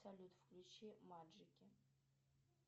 салют включи маджики